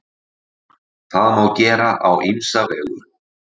Það má gera á ýmsa vegu.